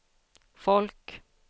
folk